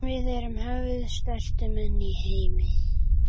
Við erum höfuðstærstu menn í heimi.